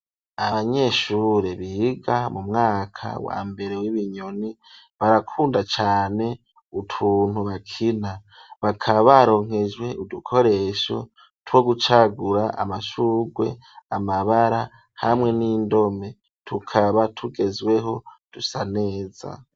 Abanyeshure biga mu mwaka wa mbere w'ibinyoni, barakunda cane utuntu bakina, bakaba baronkejwe udukoresho two gucagura amashurwe, amabara hamwe n'indome. Tukaba tugezweho dusa neza.